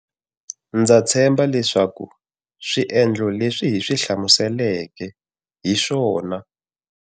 Ndza tshemba leswaku swie ndlo leswi hi swi hlamuseleke hi swona.